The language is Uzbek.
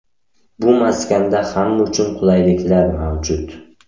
Bu maskanda hamma uchun qulayliklar mavjud.